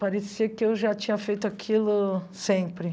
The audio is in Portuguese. Parecia que eu já tinha feito aquilo sempre.